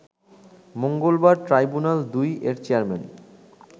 মঙ্গলবার ট্রাইব্যুনাল-২ এর চেয়ারম্যান